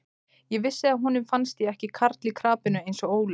Ég vissi að honum fannst ég ekki karl í krapinu eins og Óli.